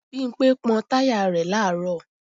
Bimpé pọ́n táyà rẹ̀ làárọ̀